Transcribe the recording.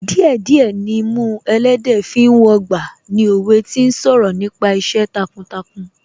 Díẹ̀ díẹ̀ nimú ẹlẹ́dẹ̀ẹ́ fi ń wọgbà ni òwe tí ń sọ̀rọ̀ nípa iṣẹ́ takuntakun